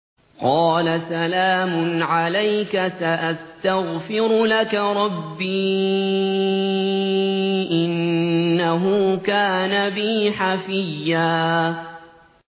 قَالَ سَلَامٌ عَلَيْكَ ۖ سَأَسْتَغْفِرُ لَكَ رَبِّي ۖ إِنَّهُ كَانَ بِي حَفِيًّا